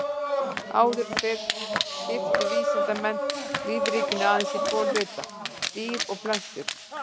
Áður fyrr skiptu vísindamenn lífríkinu aðeins í tvo hluta, dýr og plöntur.